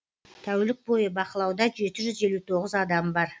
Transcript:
тәулік бойы бақылауда жеті жүз елу тоғыз адам бар